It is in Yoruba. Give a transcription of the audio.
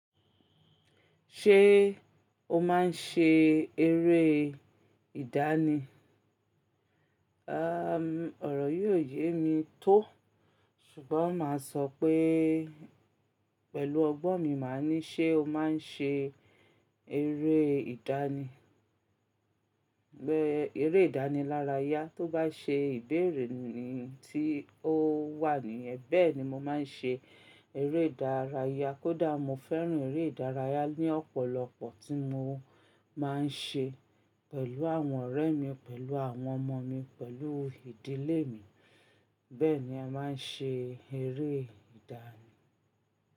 Ṣé o máa ń ṣe eré ìdánì? Àm, ọ̀rọ̀ yii oyé mi tó, ṣùgbọ́n máa sọ pé pẹ̀lú ọgbọ́n mi máa ní ṣé o máa ń ṣe eré ìdánì, bẹ́ẹ̀ eré ìdánìlárayá tó bá ṣe ìbéèrè ni tí ó wà níyẹn. Bẹ́ẹ̀ni, mọ máa ń ṣe eré ìdárayá. Kódà mo fẹ́ràn eré ìdárayá ní ọ̀pọ̀lọpọ̀ tí mo máa ń ṣe pẹ̀lú àwọn ọ̀rẹ́ mi, pẹ̀lú àwọn ọmọ mi, pẹ̀lú ìdílé mi. Bẹ́ẹ̀ni a máa ń ṣe eré ìdánì.